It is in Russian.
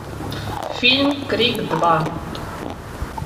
фильм крик два